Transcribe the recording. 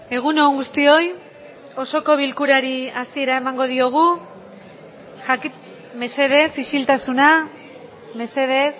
egun on guztioi osoko bilkurari hasiera emango diogu mesedez isiltasuna mesedez